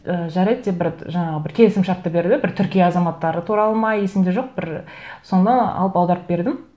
ііі жарайды деп бір жаңағы бір келісімшартты берді бір түркия азаматтары туралы ма есімде жоқ бір соны алып аударып бердім